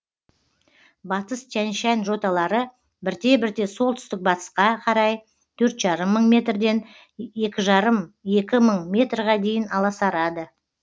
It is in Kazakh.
батыс тянь шань жоталары бірте бірте солтүстік батысқа қарай төрт жарым мың метрден екі жарым екі мың метрге дейін аласарады